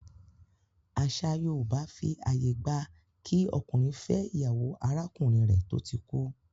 Àṣà yóòbá fi àyè gba kí ọkùnrin fẹ́ ìyàwó arákùnrin rẹ̀ tó ti kú